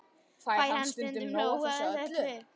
Fæ ég stundum nóg af þessu öllu?